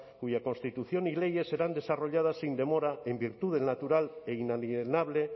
cuya constitución y leyes serán desarrolladas sin demora en virtud del natural e inalienable